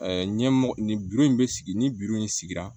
ɲɛmɔgɔ nin in bɛ sigi ni in sigira